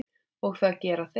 Og það gera þeir.